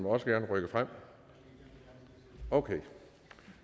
også gerne rykke frem okay